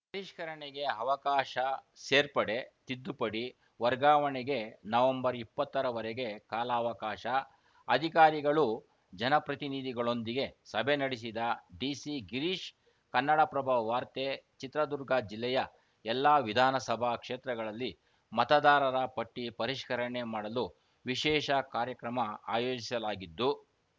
ಪರಿಷ್ಕರಣೆಗೆ ಅವಕಾಶ ಸೇರ್ಪಡೆ ತಿದ್ದುಪಡಿ ವರ್ಗಾವಣೆಗೆ ನವೆಂಬರ್ ಇಪ್ಪತ್ತರ ವರೆಗೆ ಕಾಲಾವಕಾಶ ಅಧಿಕಾರಿಗಳು ಜನಪ್ರತಿನಿಧಿಗಳೊಂದಿಗೆ ಸಭೆ ನಡೆಸಿದ ಡಿಸಿ ಗಿರೀಶ್‌ ಕನ್ನಡಪ್ರಭ ವಾರ್ತೆ ಚಿತ್ರದುರ್ಗ ಜಿಲ್ಲೆಯ ಎಲ್ಲಾ ವಿಧಾನಸಭಾ ಕ್ಷೇತ್ರಗಳಲ್ಲಿ ಮತದಾರರ ಪಟ್ಟಿಪರಿಷ್ಕರಣೆ ಮಾಡಲು ವಿಶೇಷ ಕಾರ್ಯಕ್ರಮ ಆಯೋಜಿಸಲಾಗಿದ್ದು